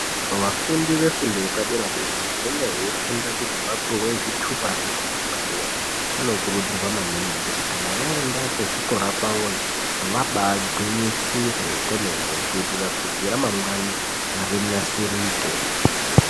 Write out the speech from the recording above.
Vafundi vefundo yepadera dera vanenge veifunda kuti vapiwe zvitupa zvefundo yepadera vanokuridzirwa maningi kuti kana vaenda kuzvikora kwavoyo vabagwinyisire kwemene kuitira kuti ramangwane rinasirike.